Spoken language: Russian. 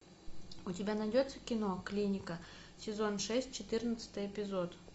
у тебя найдется кино клиника сезон шесть четырнадцатый эпизод